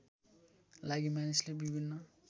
लागि मानिसले विभिन्न